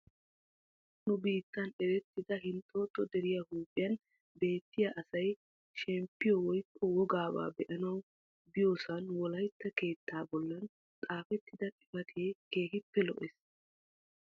nu biittan erettida hinxooxo deriya huuphiyan beettiya asay shemppiyo woykko wogaaba beanawu biyosan wolaytta keettaa bolan xaafetida xifatee keehippe lo'ees.